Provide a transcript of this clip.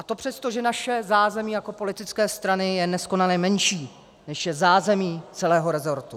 A to přesto, že naše zázemí jako politické strany je neskonale menší, než je zázemí celého rezortu.